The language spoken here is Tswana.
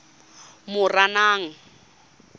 moranang